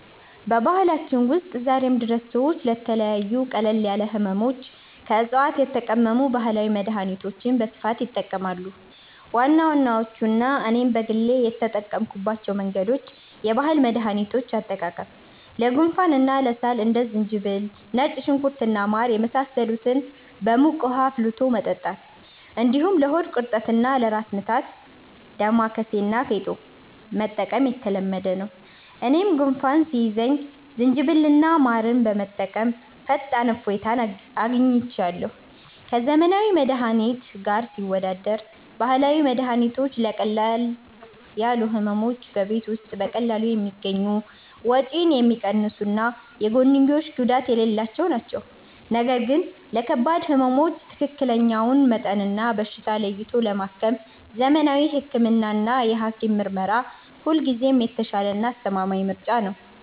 በባህላችን ውስጥ ዛሬም ድረስ ሰዎች ለተለያዩ ቀለል ያሉ ሕመሞች ከዕፅዋት የተቀመሙ ባህላዊ መድኃኒቶችን በስፋት ይጠቀማሉ። ዋና ዋናዎቹና እኔም በግል የተጠቀምኩባቸው መንገዶች፦ የባህል መድኃኒቶች አጠቃቀም፦ ለጉንፋንና ለሳል እንደ ዝንጅብል፣ ነጭ ሽንኩርት እና ማር የመሳሰሉትን በሙቅ ውኃ አፍልቶ መጠጣት፣ እንዲሁም ለሆድ ቁርጠትና ለራስ ምታት «ዳማከሴ» እና «ፌጦ» መጠቀም የተለመደ ነው። እኔም ጉንፋን ሲይዘኝ ዝንጅብልና ማር በመጠቀም ፈጣን እፎይታ አግኝቻለሁ። ከዘመናዊ መድኃኒት ጋር ሲወዳደር፦ ባህላዊ መድኃኒቶች ለቀለል ያሉ ሕመሞች በቤት ውስጥ በቀላሉ የሚገኙ፣ ወጪ የሚቀንሱና የጎንዮሽ ጉዳት የሌላቸው ናቸው። ነገር ግን ለከባድ ሕመሞች ትክክለኛውን መጠንና በሽታ ለይቶ ለማከም ዘመናዊ ሕክምናና የሐኪም ምርመራ ሁልጊዜም የተሻለና አስተማማኝ ምርጫ ነው።